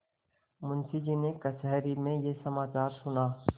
मुंशीजी ने कचहरी में यह समाचार सुना